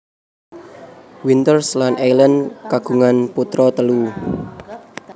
Winters lan Eileen kagungan putra telu